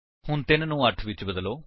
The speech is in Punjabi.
ਹੁਣ 3 ਨੂੰ 8 ਵਿਚ ਬਦਲੋ